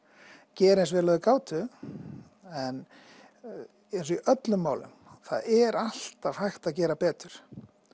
gera eins og þeir gátu en eins og í öllum málum þá er alltaf hægt að gera betur